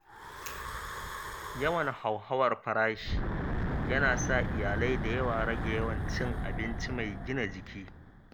Yawan hauhawar farashi yana sa iyalai da yawa rage yawan cin abinci mai gina jiki.